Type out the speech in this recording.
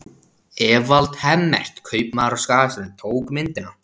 Evald Hemmert, kaupmaður á Skagaströnd, tók myndina.